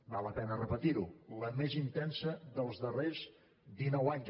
val la pena repetir ho la més intensa dels darrers dinou anys